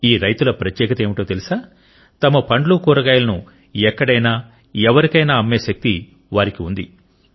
ఈ రైతుల ప్రత్యేకత ఏమిటో తెలుసా తమ పండ్లు కూరగాయలను ఎక్కడైనా ఎవరికైనా అమ్మే శక్తి వారికి ఉంది